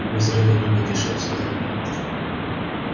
вы зря так думаете шеф сказал я